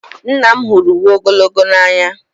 Nna m hụrụ uwe ogologo n'anya.